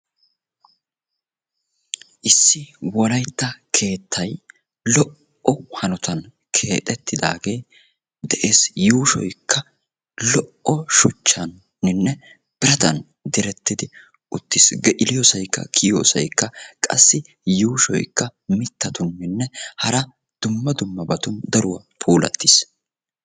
Issi wolaytta keettayi lo'o hanotan keexettida agree de'es. Yuushoykka lo'o shuchchaaninne biratan direttidi uttis geliyosaykka kiyiyosaykka qassi yuushoykka mittatuuninne hara dumma dummabatun daruwa puulattida.